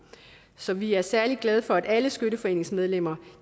så vi er særlig glade for at alle skytteforeningsmedlemmer